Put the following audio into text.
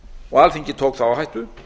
og alþingi tók þá áhættu